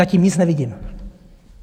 Zatím nic nevidím.